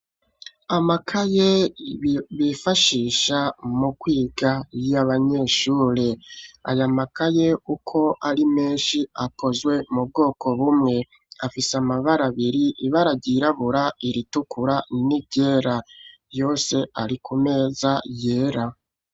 Amakaye bifashisha mu kwiga yo abanyeshure ayamakaye uko ari menshi akozwe mu bwoko bumwe afise amabara abiri ibararyirabura iritukura n'iryera yose ari ku meza yera.